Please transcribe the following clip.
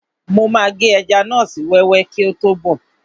Mo máa gé ẹja náà sí wẹ́wẹ́ kíi tó bọ̀ọ́